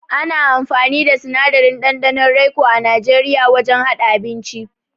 Ana amfani da sinadarin ɗanɗanon raico a Najeriya wajen haɗa abinci.